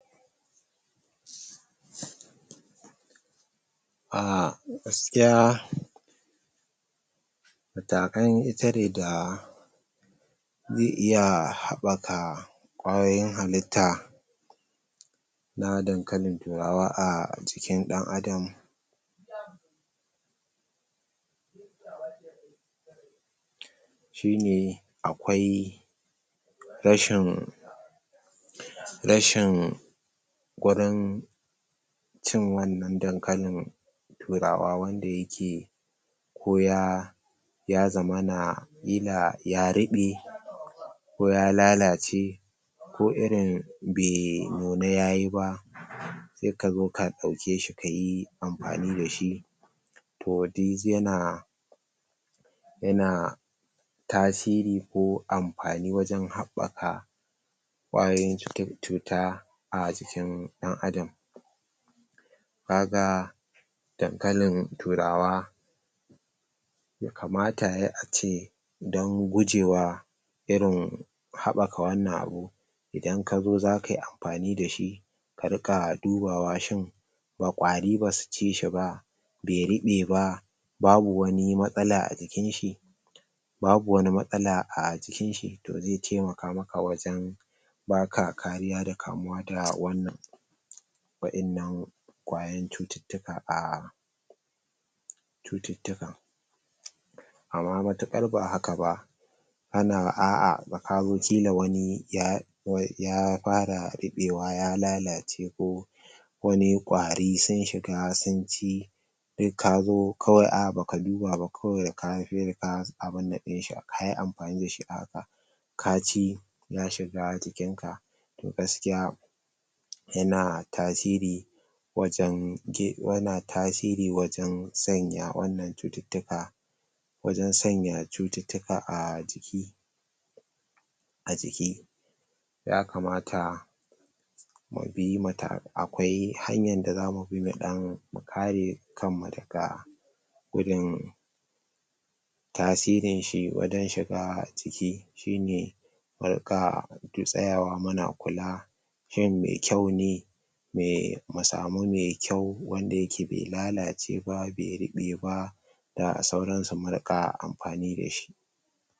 Ahh gaskiya gaskiya matakan itade da zai iya habɓaka kwayoyin halitta na dankalin turawa a jikin dan adam shine akwai rashin rashin ganin cin wannan dankalin turawa wanda yake ko ya ya zamana kila ya ruɓe ko ya lalace ko irin bai nuna yayi ba sai kazo ka dauke shi kayi amfani da shi toh duk yana yana tasiri ko amfani wajen haɓɓaka kwayoyin cuta a jikin dan adam kaga dankalin turawa kamata yayi ace don gujewa irin haɓɓaka wannan abu idan kazo zaka yi amfani da shi ka rinka dubawa shin kwari basu ci shi ba be ruɓe ba babu wani matsala a jikin shi babu wani matsala a jikin shi to zai taimaka maka wajen baka kariya da kamuwa da wannan wa’innan kwayan cututtuka ahh cututtuka amma matuƙar ba haka ba ana a’ah da kazo kila wani ya ta yadda ya fara rubewa ya lalace ko wani kwari sun shiga sunci duk kazo kawai a’ah baka duba ba kawai ka abunnan abunnan dinshi kayi amfani da shi a haka ka ci ya shiga jikin ka to gaskiya yana tasiri wajen duk yana tasiri wajen sanya wannan cututtuka wajen sanya cututtuka a jiki a jiki ya kamata mu bi matakakai akwai hanyan da za mu bi don mu kare kanmu daga gudun gudun tasirin shi wajen shiga ciki shine mu rinka tsayawa muna kula shin me kyau ne me mu samu me kyau wanda yake be lalace ba kuma be ruɓe ba da sauran su mu rinka amfani da shi